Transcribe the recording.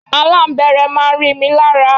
Aláǹbẹ́rẹ́ máa ń rí mi lára.